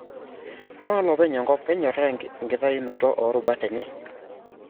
Ama lopeny enkop kenyoraa enkitayunoto o rubat enye?